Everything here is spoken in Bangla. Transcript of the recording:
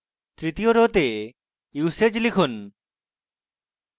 তৃতীয় arrow তে usage লিখুন